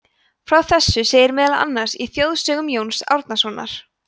frá þessu segir meðal annars í þjóðsögum jóns árnasonar